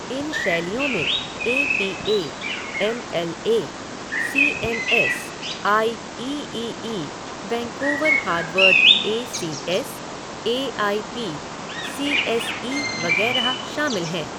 इन शैलियों में A P A, M L A, C M S, I E E E, Vancouver Harvard A C S, A I P, C S E वगैरह शामिल हैं।